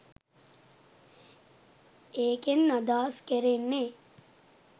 ඒකෙන් අදහස් කෙරෙන්නෙ